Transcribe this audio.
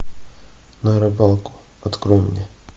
на рыбалку открой мне